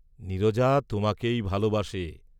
নীরজা তোমাকেই ভালবাসে।